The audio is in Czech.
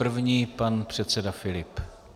První pan předseda Filip.